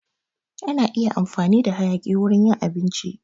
Ana iya amfani da hayaki wurin yin abinci